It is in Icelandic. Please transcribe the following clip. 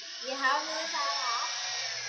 Ég hafði það af.